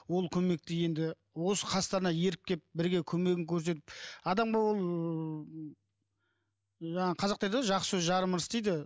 ол көмекті енді осы қастарына еріп келіп бірге көмегін көрсетіп адамға ол жаңа қазақта айтады ғой жақсы сөз жарым ырыс дейді